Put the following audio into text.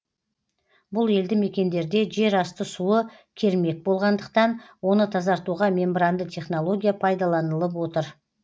бұл елді мекендерде жер асты суы кермек болғандықтан оны тазартуға мембранды технология пайдаланылып отыр